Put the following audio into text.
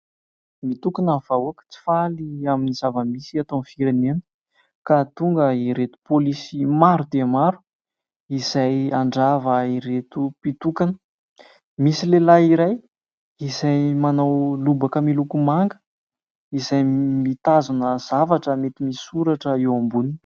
Mitokana ny vahoaka tsy faly amin'ny zava-misy eto amin'ny firenena ka tonga ireto polisy maro dia maro izay handrava ireto mpitokana. Misy lehilahy iray izay manao lobaka miloko manga izay mitazona zavatra mety misoratra eo amboniny.